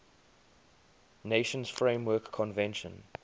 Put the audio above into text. nations framework convention